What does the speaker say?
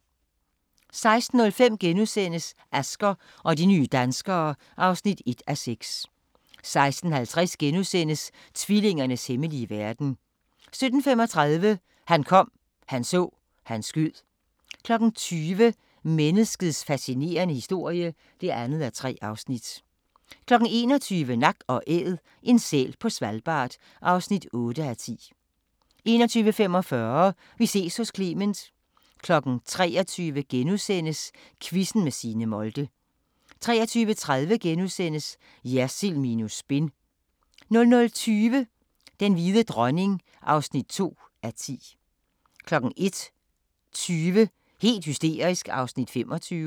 16:05: Asger og de nye danskere (1:6)* 16:50: Tvillingernes hemmelige verden * 17:35: Han kom, han så, han skød 20:00: Menneskets fascinerende historie (2:3) 21:00: Nak & Æd – en sæl på Svalbard (8:10) 21:45: Vi ses hos Clement 23:00: Quizzen med Signe Molde * 23:30: Jersild minus spin * 00:20: Den hvide dronning (2:10) 01:20: Helt hysterisk (25:32)